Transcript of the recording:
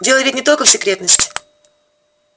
дело ведь не только в секретности